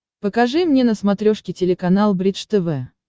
покажи мне на смотрешке телеканал бридж тв